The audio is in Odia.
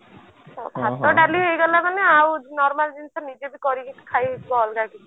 ଭାତ ଡାଲି ହେଇ ଗଲା ମାନେ ଆଉ normal ଜିନିଷ ନିଜେ ବି କରିକି ଖାଇ ହେବ ଅଲଗା କିଛି